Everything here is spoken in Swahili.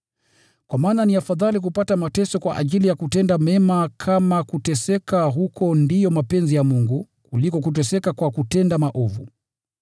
Kwa maana ni afadhali kupata mateso kwa ajili ya kutenda mema, kama kuteseka huko ndiyo mapenzi ya Mungu, kuliko kuteseka kwa kutenda maovu.